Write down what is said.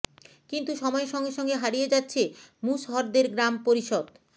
কিন্তু সময়ের সঙ্গে সঙ্গে হারিয়ে যাচ্ছে মুশহরদের গ্রাম পরিষদ